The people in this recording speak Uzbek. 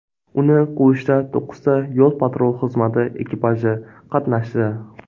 Uni quvishda to‘qqizta yo‘l-patrul xizmati ekipaji qatnashdi.